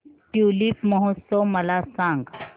tulip महोत्सव मला सांग